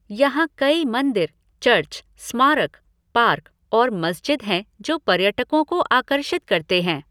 यहाँ कई मंदिर, चर्च, स्मारक, पार्क और मस्जिद हैं जो पर्यटकों को आकर्षित करते हैं।